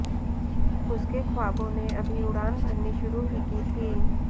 उसके ख्वाबों ने अभी उड़ान भरनी शुरू ही की थी